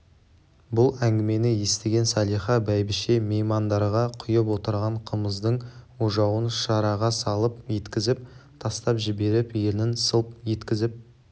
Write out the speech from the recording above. бұл әңгімені естіген салиха бәйбіше меймандарға құйып отырған қымыздың ожауын шараға салп еткізіп тастап жіберіп ернін сылп еткізіп